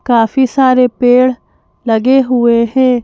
काफी सारे पेड़ लगे हुए हैं।